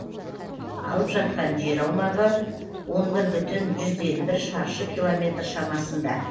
алып жатқан жер аумағы он бір бүтін жүзден бір шаршы километр шамасында